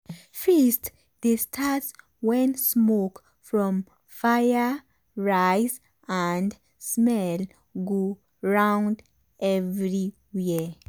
feast dey start when smoke from fire rise and smell go round everywhere.